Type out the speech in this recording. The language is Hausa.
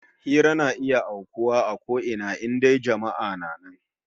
Hira na iya aukuwa kusan a ko ina, in dai jama'a na nan